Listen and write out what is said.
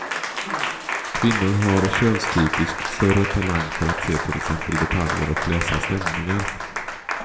Kvinnor har könstypiskt större talang för att se till exempel detaljer och läsa stämningar.